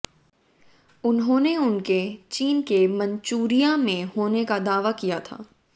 उन्होंने उनके चीन के मंचूरिया में होने का दावा किया था